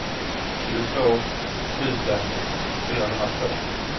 tjugotvå tusen fyrahundratvå